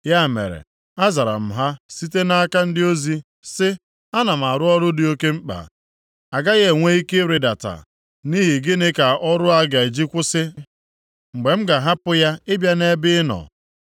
Ya mere, azara m ha site nʼaka ndị ozi sị, “Ana m arụ ọrụ dị oke mkpa, agaghị enwe ike ịrịdata. Nʼihi gịnị ka ọrụ a ga-eji kwụsị mgbe m ga-ahapụ ya ịbịa nʼebe ị nọ?”